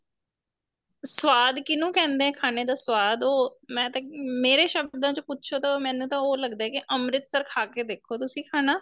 ਸਵਾਦ ਕਿੰਹਨੂ ਕਹਿੰਦੇ ਏ ਖਾਣੇ ਦਾ ਸਵਾਦ ਉਹ ਮੈ ਤਾਂ ਮੇਰੇ ਸ਼ਬਦਾ ਚ ਪੁੱਛੋ ਤਾਂ ਮੈਨੂੰ ਤਾਂ ਉਹ ਲੱਗਦਾ ਕੀ ਅੰਮ੍ਰਿਤਸਰ ਖਾ ਕੇ ਦੇਖੋ ਤੁਸੀਂ ਖਾਣਾ